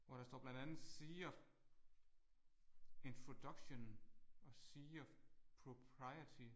Hvor der står blandet andet sea of introduction og sea of propriety